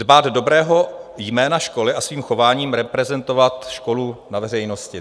"Dbát dobrého jména školy a svým chováním reprezentovat školu na veřejnosti."